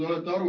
Aeg!